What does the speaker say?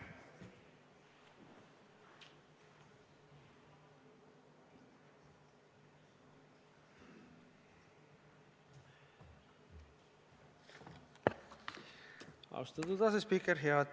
Austatud asespiiker!